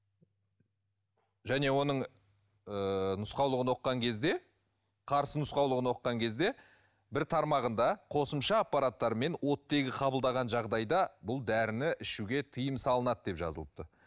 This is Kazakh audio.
және оның ыыы нұсқаулығын оқыған кезде қарсы нұсқаулығын оқыған кезде бір тармағында қосымша аппараттармен оттегі қабылдаған жағдайда бұл дәріні ішуге тыйым салынады деп жазылып тұр